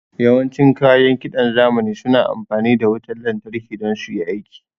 Yawan cin kayan kiɗan zamani suna amfani da wutan lantarki don suyi aiki